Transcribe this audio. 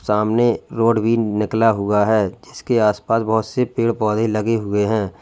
सामने रोड भी निकला हुआ है जीसके आस पास बहुत से पेड़ पौधे लगे हुए हैं।